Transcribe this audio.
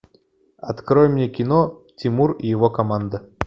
открой мне кино тимур и его команда